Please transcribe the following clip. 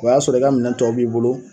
O y'a sɔrɔ i ka minɛn tɔ b'i bolo.